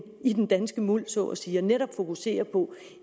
i den danske muld så at sige og netop fokusere på